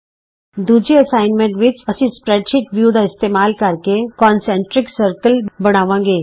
ਦੂਜੇ ਅਸਾਈਨਮੈਂਟ ਵਿਚ ਅਸੀਂ ਸਪਰੈਡਸ਼ੀਟ ਵਿਊ ਦਾ ਇਸਤੇਮਾਲ ਕਰਕੇ ਸਮਕੇਂਦਰੀ ਗੋਲ ਦਾਇਰੇ ਬਣਾਵਾਂਗੇ